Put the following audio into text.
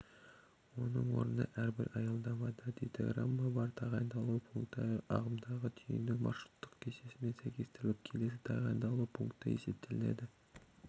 оның орнына әрбір аялдамада дейтаграммада бар тағайындалу пункті ағымдағы түйіннің маршруттық кестесімен сәйкестіріліп келесі тағайындалу пункті есептелінеді